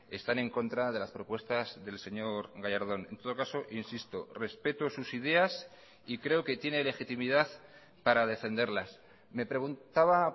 están en contra de las propuestas del señor gallardón en todo caso insisto respeto sus ideas y creo que tiene legitimidad para defenderlas me preguntaba